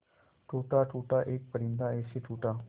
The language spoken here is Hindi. टूटा टूटा एक परिंदा ऐसे टूटा